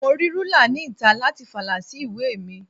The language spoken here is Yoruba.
Mo rí rúlà ni ìta láti fa ìlà sí ìwé mi.